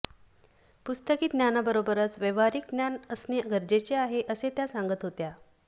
पुस्तकी ज्ञाबरोबरच व्यावहारिक ज्ञान असणे गरजेचे आहे असे त्या सांगत होत्या